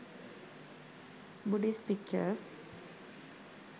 buddhist pictures